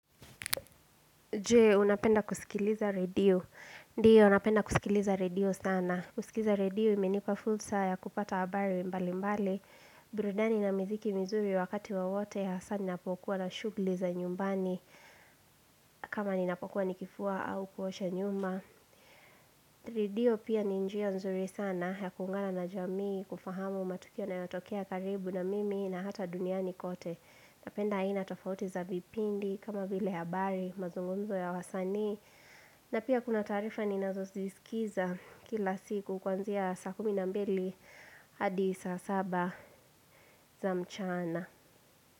Je, unapenda kusikiliza redio. Ndiyo, napenda kusikiliza redio sana. Kusikiza redio, imenipa fursa ya kupata habari mbalimbali. Burudani na miziki mizuri wakati wowote hasa ninapokuwa na shughuli za nyumbani. Kama ninapokuwa nikifua au kuosha nyumba. Redio pia ni njia nzuri sana ya kungana na jamii, kufahamu matukia na yotokea karibu na mimi na hata duniani kote. Napenda aina tofauti za vipindi, kama vile habari, mazungumzo ya wasanii. Na pia kuna taarifa ninazo ziskiza kila siku kwanzia saa kumi na mbili hadi saa saba za mchana.